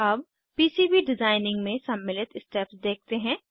अब PCB designing में सम्मिलित स्टेप्स देखते हैं